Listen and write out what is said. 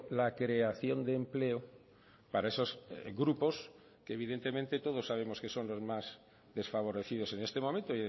la creación de empleo para esos grupos que evidentemente todos sabemos que son los más desfavorecidos en este momento